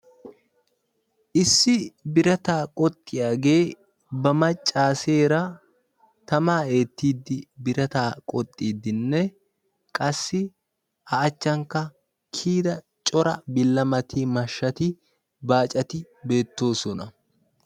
Issi birataa qoxxiyagee ba macaseera tamaa eetiiddi, birataa qoxxiiddi qassi a achankka kiyida mashatinne baacati beettoosona